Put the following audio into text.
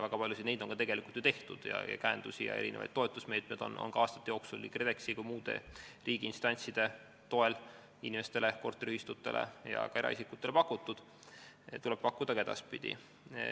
Väga paljusid nendest asjadest on ka ju tehtud, käendust ja toetusmeetmeid on aastate jooksul KredExi ja muude riigiinstantside toel korteriühistutele ja ka eraisikutele pakutud ning neid tuleb pakkuda edaspidigi.